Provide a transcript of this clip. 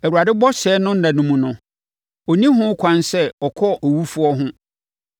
“ Awurade bɔhyɛ no nna no mu no, ɔnni ho kwan sɛ ɔkɔ owufoɔ ho.